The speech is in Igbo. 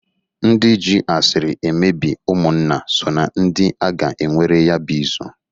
Ndị jị asiri emebi ụmụnna so na ndị a ga enwere ya bụ izu.